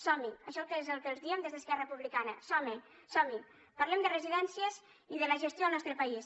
som hi això és el que els diem des d’esquerra republicana som hi parlem de residències i de la gestió al nostre país